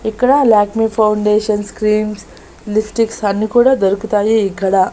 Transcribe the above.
ఇక్కడ Lakme foundations creams lipsticks అన్ని కూడా దొరుకుతాయి ఇక్కడ.